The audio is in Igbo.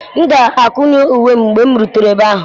M ga-akụnye uwe m mgbe m rutere ebe ahụ.